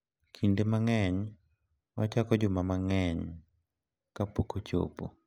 Kinde mang’eny, ochako juma mang’eny kapok ochopo.